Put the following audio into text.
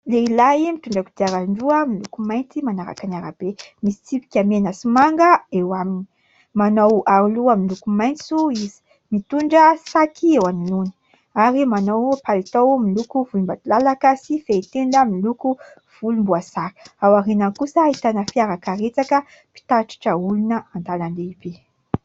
Lehilahy mitondra kodiaran-droa miloko mainty manaraka ny arabe. Misy tsipika mena sy manga eo aminy. Manao aroloha miloko maitso izy, mitondra saky eo anoloany ary manao mpalitao miloko volombadolalaka sy fehitenda miloko volomboasary. Ao aoriany kosa ahitana fiara karetsaka mpitatitra olona antanan-dehibe.